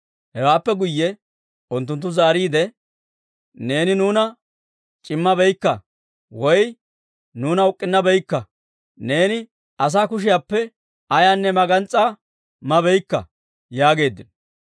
Hewaappe guyye unttunttu zaariide, «Neeni nuuna c'immabaakka; woy nuuna uk'k'unnabaakka; neeni asaa kushiyaappe ayaanne magans's'aa mabaakka» yaageeddino.